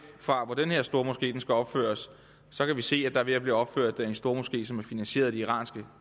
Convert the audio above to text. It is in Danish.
fra hvor den her stormoské skal opføres så kan vi se at der er ved at blive opført en stormoské som er finansieret af det iranske